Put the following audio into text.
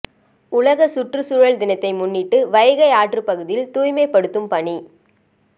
உலக சுற்றுச்சுழல் தினத்தினை முன்னிட்டு வைகை ஆற்றுப்பகுதியில் தூய்மைப்படுத்தும் பணி